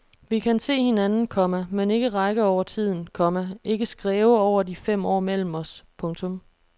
Vi kan se hinanden, komma men ikke række over tiden, komma ikke skræve over de fem år mellem os. punktum